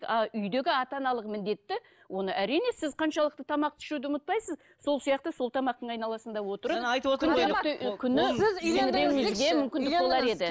а үйдегі ата аналық міндетті оны әрине сіз қаншалықты тамақты ішуді ұмытпайсыз сол сияқты сол тамақтың айналасында отырып жаңа айтып отыр